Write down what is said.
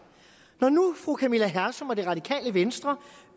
når nu fru camilla hersom og det radikale venstre